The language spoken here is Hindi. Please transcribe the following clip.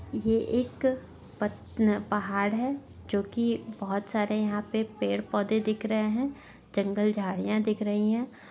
ये एक पतल पहाड़ है जो कि बहुत सारे यहाँ पे पेड़-पौधे दिख रहे हैं जंगल झाड़ियां दिख रही हैं।